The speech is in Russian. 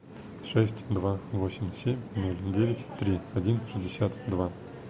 шесть два восемь семь ноль девять три один шестьдесят два